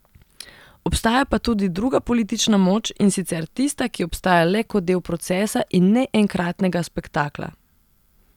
Obstaja pa tudi druga politična moč, in sicer tista, ki obstaja le kot del procesa, in ne enkratnega spektakla.